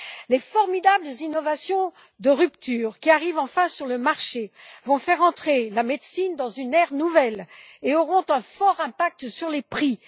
Les formidables innovations de rupture, qui arrivent enfin sur le marché, vont faire entrer la médecine dans une ère nouvelle et auront un fort impact sur les prix.